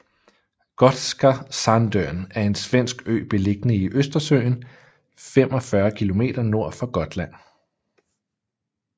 Gotska Sandön er en svensk ø beliggende i Østersøen 45 km nord for Gotland